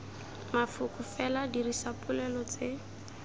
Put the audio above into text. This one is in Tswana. mafoko fela dirisa dipolelo tse